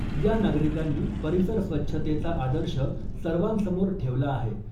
या नागरिकांनी परिसर स्वच्छतेचा आदर्श सर्वांसमोर ठेवला आहे .